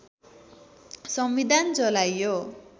संविधान जलाइयो